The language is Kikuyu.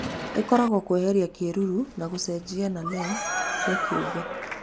Ĩkoragwo kweheria kĩruru na gũcenjia na lens cia kĩũmbe.